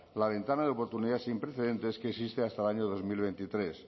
la ventana de oportunidades sin precedentes que existe hasta el año dos mil veintitrés